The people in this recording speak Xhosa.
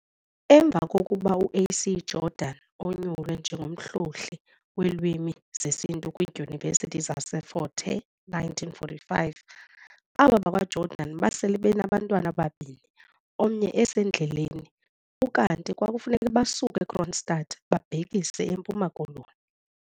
Emva kokuba u A.C Jordan onyulwe njengomhlohli weelwimi zesiNtu kwidyunivesithi zaseFort Hare 1945, aba bakwaJordan basele benabantwana ababini omnye esendleleni ukanti kwafuneka basuke eKroonstad babhekise eMpuma Koloni.